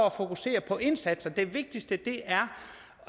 at fokusere på indsatserne det vigtigste er